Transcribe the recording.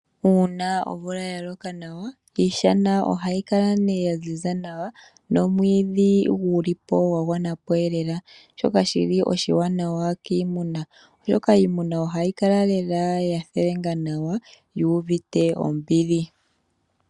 Uuna omvula ya loka nawa, iishana ohayi kala ya ziza nawa, nomwiidhi guli po gwa gwanapo elela. Shoka oshili oshiwanawa kiimuna, oshoka iimuna ohayi kala lela ya theenga nawa, yu uvite ombili.